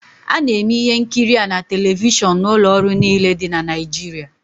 A na-eme ihe nkiri a na telivishọn n'ụlọ ọrụ niile dị na Nigeria